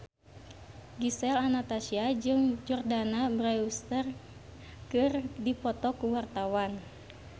Gisel Anastasia jeung Jordana Brewster keur dipoto ku wartawan